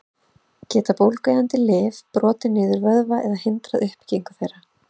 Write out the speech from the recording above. Geta bólgueyðandi lyf brotið niður vöðva eða hindrað uppbyggingu þeirra?